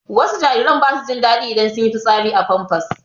Wasu jariran ba su jin daɗi idan sun yi fitsari a famfas